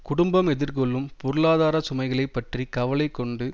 குடும்பம் எதிர்கொள்ளும் பொருளாதார சுமைகளைப் பற்றி கவலை கொண்டு